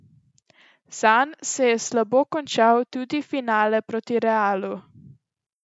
Zanj se je slabo končal tudi finale proti Realu.